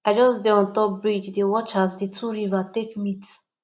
i just dey on top bridge dey watch as di two river take meet